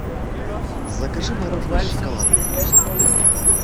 закажи мороженое с шоколадным вкусом